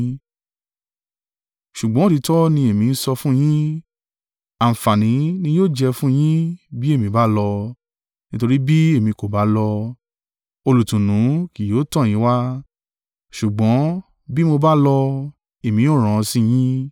Ṣùgbọ́n òtítọ́ ni èmi ń sọ fún yín; àǹfààní ni yóò jẹ́ fún yín bí èmi bá lọ, nítorí bí èmi kò bá lọ, Olùtùnú kì yóò tọ̀ yín wá; ṣùgbọ́n bí mo bá lọ, èmi ó rán an sí yín.